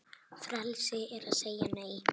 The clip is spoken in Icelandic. Frelsi er að segja Nei!